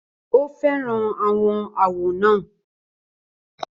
Ó fẹ́ràn àwọn àwọ̀ náà.